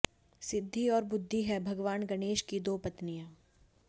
सिद्धि और बुद्धि हैं भगवान गणेश की दो पत्नियां